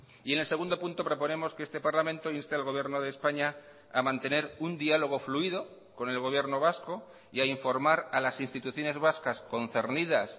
y en el segundo punto proponemos que este parlamento inste al gobierno de españa a mantener un diálogo fluido con el gobierno vasco y a informar a las instituciones vascas concernidas